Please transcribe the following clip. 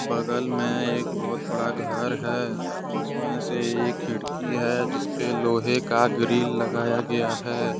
बगल में एक बहुत बड़ा घर है जिसमें से एक खिड़की है जिस पे लोहे का ग्रिल लगाया गया है।